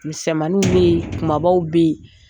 Misɛmaninw bɛ yen, kumabaw bɛ yen.